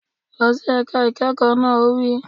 Lọ sí ẹ̀ka ìkẹ́kọ̀ọ́ náà! Ó wí